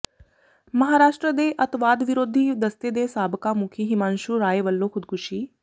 ਮਹਾਰਾਸ਼ਟਰ ਦੇ ਅੱਤਵਾਦ ਵਿਰੋਧੀ ਦਸਤੇ ਦੇ ਸਾਬਕਾ ਮੁਖੀ ਹਿਮਾਂਸ਼ੂ ਰਾਏ ਵਲੋਂ ਖ਼ੁਦਕੁਸ਼ੀ